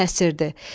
Tələsirdi.